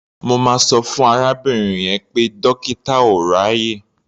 Mo máa sọ fún arábìnrin yẹn pé dọ́kítà ò ráàyè.